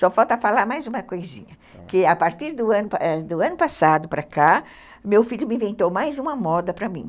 Só falta falar mais uma coisinha, que a partir do ano passado para cá, meu filho me inventou mais uma moda para mim.